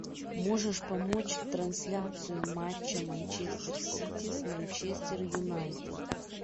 можешь помочь трансляцию матча манчестер сити с манчестер юнайтед